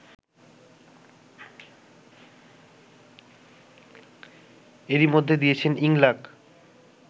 এরই মধ্যে দিয়েছেন ইংলাক